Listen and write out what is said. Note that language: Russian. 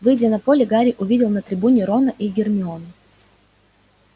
выйдя на поле гарри увидел на трибуне рона и гермиону